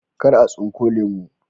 Kar a tsunko lemu